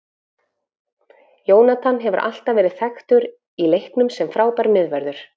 Jonathan hefur alltaf verið þekktur í leiknum sem frábær miðvörður.